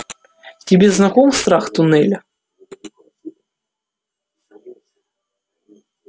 тебе знаком страх туннеля